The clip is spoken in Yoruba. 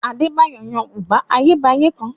Adébáyọ̀ yan bùbá Ayébáyé kan